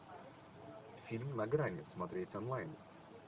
фильм на грани смотреть онлайн